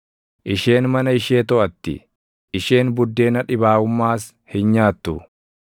Isheen mana ishee toʼatti; isheen buddeena dhibaaʼummaas hin nyaattu.